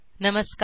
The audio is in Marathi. नमस्कार